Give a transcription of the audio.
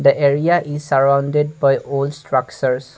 the area is surrounded by old structures.